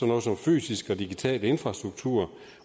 noget som fysisk og digital infrastruktur